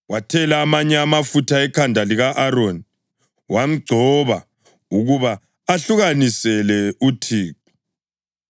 Wathela amanye amafutha ekhanda lika-Aroni wamgcoba ukuba amahlukanisele uThixo.